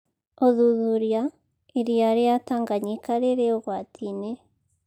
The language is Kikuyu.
ũthuthuria: irĩa rĩa Tanganyika rĩrĩ ũgwati-inĩ